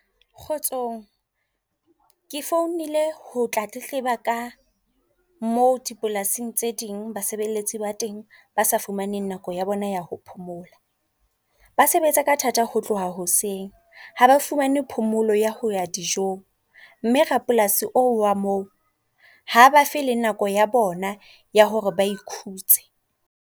Kgotsong, ke founile ho tla tletleba ka mo dipolasing tse ding basebeletsi ba teng ba sa fumaneng nako ya bona ya ho phomola. Ba sebetsa ka thata ho tloha hoseng. Ha ba fumane phomolo ya ho ya dijong. Mme rapolasi oo wa moo, ha ba fe le nako ya bona ya hore ba ikhutse.